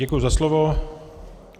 Děkuji za slovo.